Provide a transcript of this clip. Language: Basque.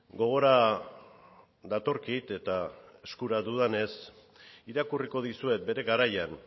gogora datorkit eta eskura dudanez irakurriko dizuet bere garaian